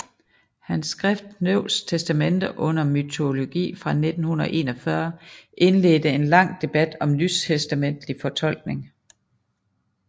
Hans skrift Neues Testament und Mythologie fra 1941 indledte en lang debat om nytestamentlig fortolkning